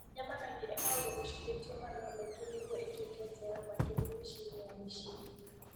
Nyama kaingĩ ĩkoragwo ĩcũhĩtio mathaa maingĩ nĩguo ĩtuĩke njega, makĩria mĩciĩ-inĩ ya mĩciĩ-inĩ.